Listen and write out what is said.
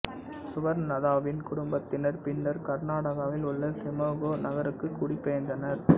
சுவர்ணலதாவின் குடும்பத்தினர் பின்னர் கர்நாடகாவில் உள்ள சிமோகா நகருக்குக் குடி பெயர்ந்தனர்